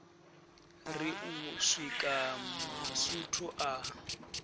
ri u swika masutu a